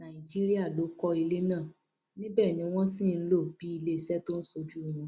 nàìjíríà ló kọ ilé náà níbẹ ni wọn sì ń lò bíi iléeṣẹ tó ń ṣojú wọn